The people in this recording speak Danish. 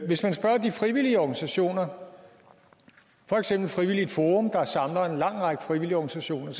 hvis man spørger de frivillige organisationer for eksempel frivilligt forum der samler en lang række frivillige organisationer